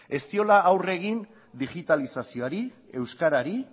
ez diola aurre egin digitalizazioari euskarari